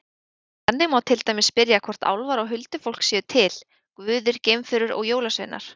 Þannig má til dæmis spyrja hvort álfar og huldufólk séu til, guðir, geimverur og jólasveinar.